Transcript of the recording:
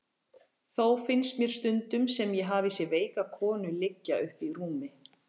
Þó finnst mér stundum sem ég hafi séð veika konu liggja uppi í rúmi.